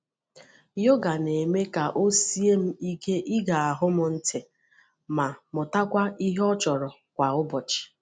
Yoga na-eme ka o sie m ike ige ahụ m ntị ma mụtakwuo ihe ọ chọrọ kwa ụbọchị.